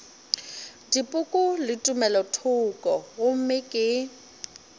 dipoko le tumelothoko gomme ke